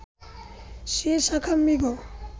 সে শাখামৃগ